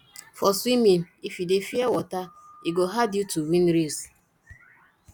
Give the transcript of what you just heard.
for swimming if you dey fear water e go hard you to win race